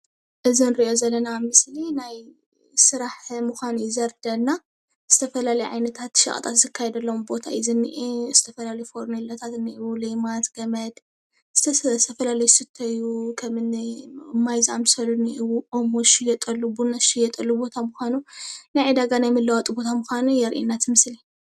እዚ ንሪኦ ዘለና ምስሊ ናይ ስራሕ ምዃኑ እዩ ዘርድአና ዝተፈላለየ ዓይነታት ሸቐጣት ዝካየደሎም ቦታ እዩ ዝኒኤ ዝተፈላለዩ ፈርኔሎታት እንኤዉ፣ ሌማት፣ ገመድ ዝተፈላለዩ ዝስተዩ ከምኒ ማይ ዝኣመሰሉ እንኤዉ፣ ኦሞ ዝሽየጠሉ ኣሎ ፣ቡና ዝሽየጠሉ ቦታ ምዃኑ ናይ ዕዳጋ ናይ መለዋወጢ ቦታ ምዃኑ የርእየና እቲ ምስሊ፡፡